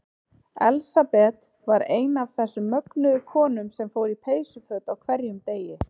Elsabet var ein af þessum mögnuðu konum sem fór í peysuföt á hverjum degi.